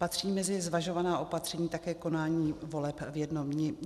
Patří mezi zvažovaná opatření také konání voleb v jednom dni?